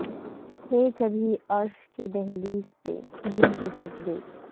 تھے کبھی عرش کی دہلیز پہ جن کے سجدے